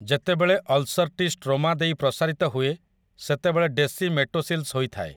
ଯେତେବେଳେ ଅଲ୍‌ସର୍‌ଟି ଷ୍ଟ୍ରୋମା ଦେଇ ପ୍ରସାରିତ ହୁଏ ସେତେବେଳେ ଡେସିମେଟୋସିଲ୍‌ସ୍ ହୋଇଥାଏ ।